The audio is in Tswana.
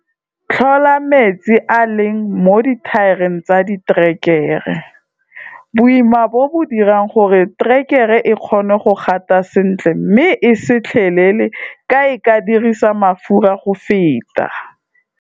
Tlhola metsi a a leng mo dithaereng tsa diterekere. Boima bo bo dira gore terekere e kgone go gata sentle mme e se tlhelele ka e ka dirisa mafura go feta.